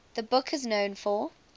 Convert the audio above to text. the book is known for